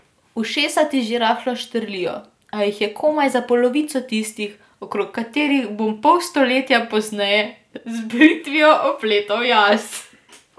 Ušesa ti že rahlo štrlijo, a jih je komaj za polovico tistih, okrog katerih bom pol stoletja pozneje z britvijo opletal jaz.